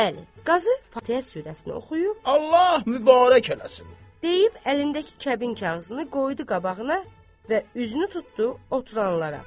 Bəli, qazı Fatihə surəsini oxuyub Allah mübarək eləsin deyib əlindəki kəbin kağızını qoydu qabağına və üzünü tutdu oturanlara.